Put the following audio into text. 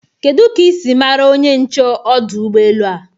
Kedu ka isi mara onye nche ọdụ Ụgbọ elu a?